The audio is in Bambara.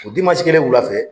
O kelen wula fɛ.